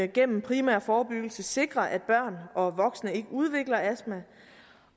gennem primær forebyggelse sikre at børn og voksne ikke udvikler astma